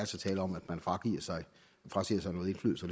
tale om at man frasiger sig noget indflydelse